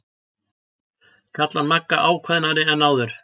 kallar Magga ákveðnari en áður.